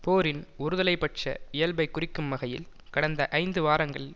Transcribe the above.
போரின் ஒருதலை பட்ச இயல்பைக் குறிக்கும் வகையில் கடந்த ஐந்து வாரங்களில்